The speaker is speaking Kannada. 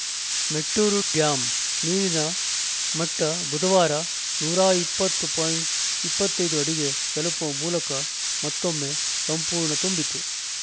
ಮೆಟ್ಟೂರು ಡ್ಯಾಂ ನೀರಿನ ಮಟ್ಟಬುಧವಾರ ನೂರ ಇಪ್ಪತ್ತು ಪಾಯಿಂಟ್ ಇಪ್ಪತ್ತ್ ಐದು ಅಡಿಗೆ ತಲುಪುವ ಮೂಲಕ ಮತ್ತೊಮ್ಮೆ ಸಂಪೂರ್ಣ ತುಂಬಿತು